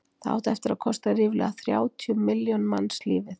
það átti eftir að kosta ríflega þrjátíu milljón manns lífið